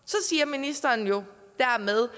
ministeren siger dermed